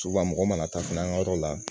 mɔgɔ mana taa fana an ka yɔrɔ la